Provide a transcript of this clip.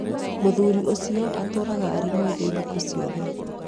muthuri ũcio atũraga arĩ mwĩthĩ thikũ ciothe